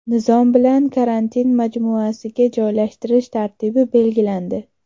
Nizom bilan karantin majmuasiga joylashtirish tartibi belgilandi.